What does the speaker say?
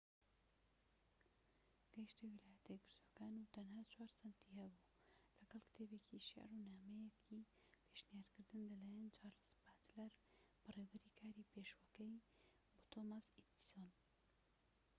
گەیشتە ویلایەتە یەکگرتوەکان و تەنها ٤ سەنتی هەبوو، لەگەڵ کتێبێکی شیعر و نامەیەکی پێشنیارکردن لەلایەن چارلز باچلەر بەڕێوەبەری کاری پێشوەکەی بۆ تۆماس ئێدیسۆن